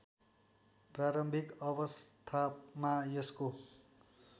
प्रारम्भिक अवस्थामा यसको